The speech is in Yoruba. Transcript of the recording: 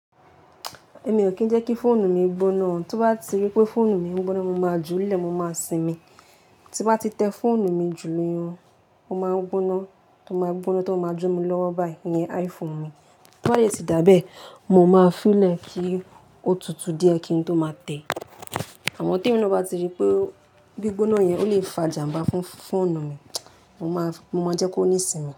Èmi ò kí ń jẹ́ kí fóònù mi gbóná. Tó bá ti rí pé fóònù mi ń gbóná, mo máa ju ú lẹ̀, mo máa sinmi. Tí wọ́n bá ti tẹ fóònù mi jù níyan, ó máa ń gbóná, ó máa gbóná tó máa jóná lọ́wọ́ báyìí, ìyẹn iPhone mi. Tó bá yẹ sì dábẹ́, mo máa fún ú lẹ̀ kí ó tutù díẹ̀ kí n tó máa tẹ. Àmọ́ tí ènìyàn bá ti rí pé gbí gbóná yẹn ò lè fàjàǹbá fún fóònù mi, mo máa jẹ́ kó níì sinmi.